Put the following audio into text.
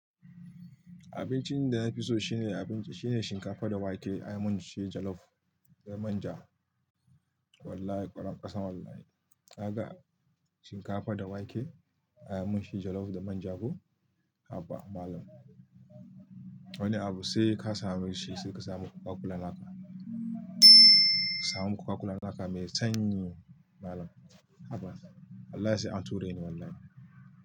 Abincin da na fi so shine abinci, shine shinkafa da wake, ayamin shi jalof da manja. Wallahi kwarankwasa wallahi. Ka ga shinkafa da wake, ayamin shi jalof da manja ko? Haba malam. Wani abu sai ka samu shi, sai ka samu Coca-Cola naka. Samu Coca-Cola naka mai sanyi malam. Haba. Wallahi sai an ture ni wallahi.